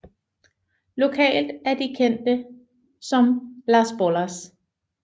Lokalt er de kendte som Las Bolas